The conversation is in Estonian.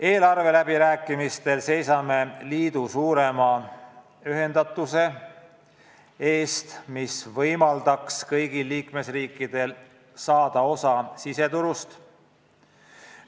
Eelarveläbirääkimistel seisame liidu suurema ühendatuse eest, mis võimaldaks kõigil liikmesriikidel saada osa siseturust.